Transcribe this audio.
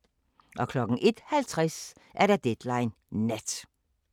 01:50: Deadline Nat